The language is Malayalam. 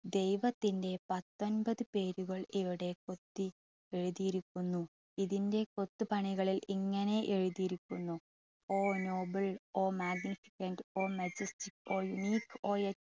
ദൈവത്തിൻ്റെ പത്തൊൻപത് പേരുകൾ ഇവിടെ കൊത്തി എഴുതിയിരിക്കുന്നു. ഇതിൻ്റെ കൊത്തു പണികളിൽ ഇങ്ങനെ എഴുതിയിരിക്കുന്നു. all noble all maget all magestic all neak